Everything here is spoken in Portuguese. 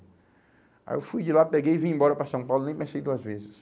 Aí eu fui de lá, peguei e vim embora para São Paulo, nem pensei duas vezes.